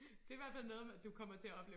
Det i hvert fald noget du kommer til at opleve